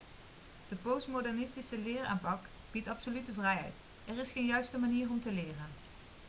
de postmodernistische leeraanpak biedt absolute vrijheid er is geen juiste manier om te leren